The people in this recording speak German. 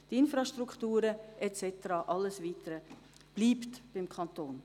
Die Infrastrukturen und alles Weitere bleiben beim Kanton.